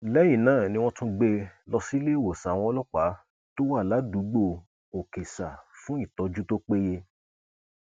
lẹyìn náà ni wọn tún gbé e lọ síléèwọsán àwọn ọlọpàá tó wà ládùúgbò òkèsà fún ìtọjú tó péye